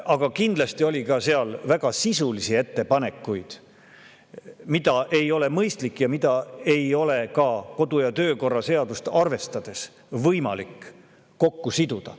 Aga kindlasti oli seal ka väga sisulisi ettepanekuid, mida ei ole mõistlik ja mida ei ole ka kodu- ja töökorra seadust arvestades võimalik kokku siduda.